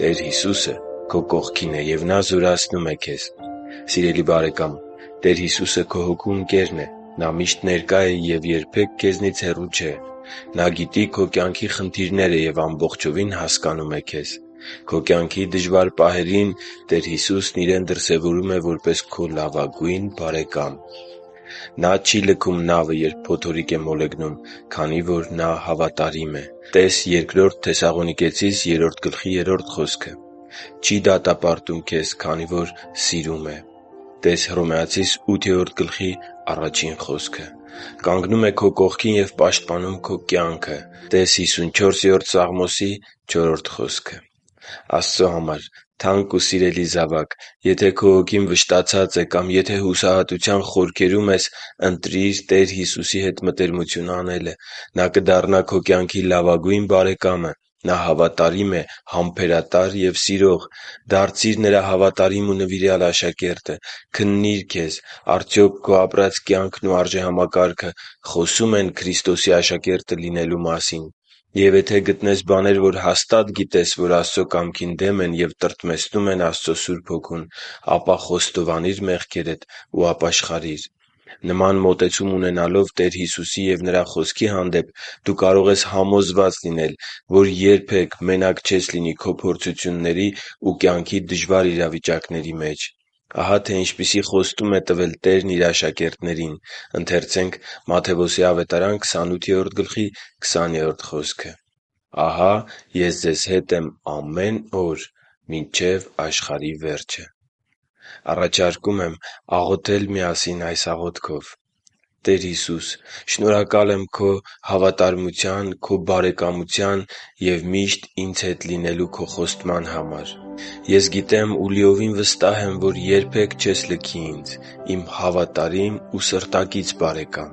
Տեր Հիսուսը քո կողքին է, և Նա զորացնում է քեզ Սիրելի՛ բարեկամ, Տեր Հիսուսը քո հոգու ընկերն է: Նա միշտ ներկա է և երբեք քեզնից հեռու չէ։ Նա գիտի քո կյանքի խնդիրները և ամբողջովին հասկանում է քեզ։ Քո կյանքի դժվար պահերին Տեր Հիսուսն իրեն դրսևորում է որպես քո լավագույն բարեկամ։ - Նա չի լքում նավը, երբ փոթորիկ է մոլեգնում, քանի որ Նա հավատարիմ է (տե՛ս Բ Թեսաղոնիկեցիս 3.3 խոսքը)։ - Չի դատապարտում, քանի որ սիրում է քեզ (տե՛ս Հռոմեացիներ 8.1 խոսքը)։ - Կանգնում է քո կողքին և պաշտպանում քո կյանքը (տե՛ս Սաղմոս 54.4 խոսքը)։ Աստծո համար թանկ ու սիրելի՛ զավակ, եթե քո հոգին վշտացած է կամ եթե հուսահատության խորքերում ես, ընտրի՛ր Տեր Հիսուսի հետ մտերմություն անելը։ Նա կդառնա քո կյանքի լավագույն բարեկամը։ Նա հավատարիմ է, համբերատար և սիրող։ Դարձի՛ր Նրա հավատարիմ ու նվիրյալ աշակերտը։ Քննի՛ր քեզ՝ արդյոք քո ապրած կյանքն ու արժեհամակարգը խոսո՞ւմ են Քրիստոսի աշակերտը լինելու մասին։ Եվ եթե գտնես բաներ, որ հաստատ գիտես, որ Աստծո կամքին դեմ են և տրտմեցնում են Աստծո Սուրբ Հոգուն, ապա խոստովանի՛ր մեղքերդ ու ապաշխարի՛ր։ Նման մոտեցում ունենալով Տեր Հիսուսի և Նրա Խոսքի հանդեպ՝ դու կարող ես համոզված լինել, որ երբե՛ք մենակ չես լինի քո փորձությունների ու կյանքի դժվար իրավիճակների մեջ։ Ահա, թե ինչպիսի խոստում է տվել Տերն Իր աշակերտներին․ «Եվ ահա ես ձեզ հետ եմ բոլոր օրերին մինչև աշխարհի վերջը» (Մատթեոս 28.20): Առաջարկում եմ աղոթել միասին այս աղոթքով․ «Տե՛ր Հիսուս, շնորհակալություն Քո հավատարմության, Քո բարեկամության և միշտ ինձ հետ լինելու Քո խոստման համար: Ես գիտեմ և լիովին վստահ եմ, որ երբե՛ք չես լքի ինձ, իմ հավատարիմ և սրտակից բարեկա՛մ: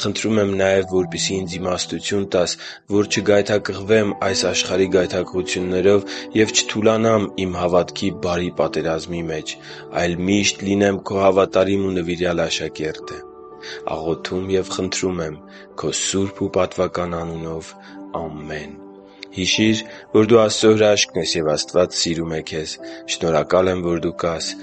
Խնդրում եմ նաև, որպեսզի ինձ իմաստություն տաս, որ չգայթակղվեմ այս աշխարհի գայթակղություններով և չթուլանամ իմ հավատքի բարի պատերազմի մեջ, այլ միշտ լինեմ Քո հավատարիմ ու նվիրյալ աշակերտը։ Աղոթում և խնդրում եմ Քո սուրբ ու պատվական անունով։ Ամե՛ն»: Հիշի՛ր, որ դու Աստծո հրաշքն ես, և Աստված սիրում է քեզ։ Շնորհակալ եմ, որ դու կա՛ս